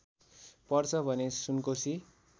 पर्छ भने सुनकोशी